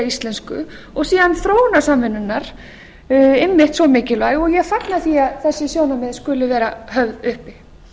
íslensku og síðan þróunarsamvinnunnar einmitt svo mikilvæg og ég fagna því að þessi sjónarmið skuli vera höfð uppi